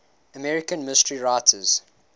american mystery writers